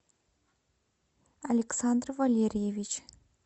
александр валерьевич